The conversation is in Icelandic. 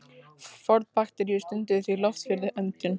Fornbakteríur stunduðu því loftfirrða öndun.